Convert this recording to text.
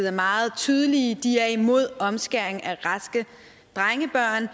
er meget tydelige de er imod omskæring af raske drengebørn